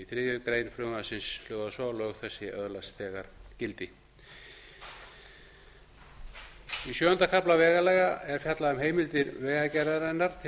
þriðju grein hljóðar svo lög þessi öðlast þegar gildi í sjöunda kafla vegalaga er fjallað um heimildir vegagerðarinnar til